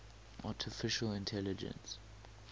artificial intelligence